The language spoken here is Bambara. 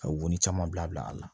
Ka u ni caman bila bila a la